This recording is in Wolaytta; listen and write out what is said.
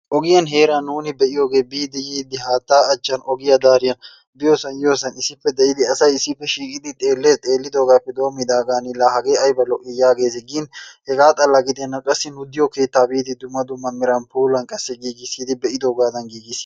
Ogiyan heeran nuuni be'iyogee biidi yiidi haattaa achchan ogiya dariyan biyosaan yiiyosan issippe de'idi asay issippe shiiqqidi xeellees. Xeelliddogaappe doommidaagan laa hagee ayba lo'i yaagees, gin hegaa xala giddenna qassi gujjiyo keettaa giidi dumma die meran puulan qassi giggissidi be'iddoogaadan giggissidi..